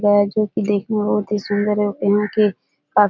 जो की देखने मे बोहोत ही सुन्दर है और यहां के --